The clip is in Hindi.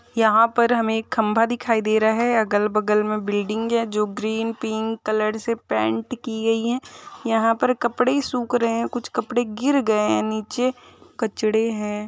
यहां पर हमे एक खंभा दिखाई दे रहा है अगल-बगल मे बिल्डिंग है जो ग्रीन पिंक कलर से पेंट की गई है यहाँ पर कपड़े सुख रहे है कुछ कपड़े गिर गये है निचे कचड़े है।